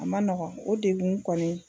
A ma nɔgɔ o degu kɔni